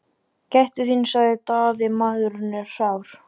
Gættu þín, sagði Daði,-maðurinn er sár!